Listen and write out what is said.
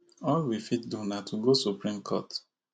all we fit do na to go supreme court